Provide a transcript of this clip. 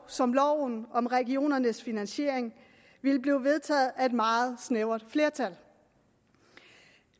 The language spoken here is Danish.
som loven om regionernes finansiering ville blive vedtaget af et meget snævert flertal